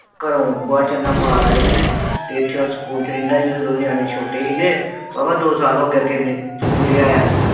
ਘਰੋ ਬੂਹਾ ਜੰਦਰਾ ਮਾਰ ਆਏ ਦੇ ਨੇ ਤੇ ਏਥੇ ਉਹ ਸਕੂਲ ਚ ਰਹਿੰਦਾ ਹੀ ਉਹਦੇ ਨਿਆਣੇ ਛੋਟੇ ਸੀ ਗਏ। ਵਾ ਵਾ ਦੋ ਸਾਲ ਹੋ ਗਏ ਤਿੰਨ ਸਕੂਲੇ ਆਇਆ ਨੂੰ।